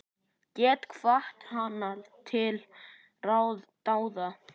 Get hvatt hana til dáða.